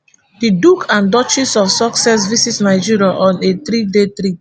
di duke and duchess of sussex visit nigeria on a threeday trip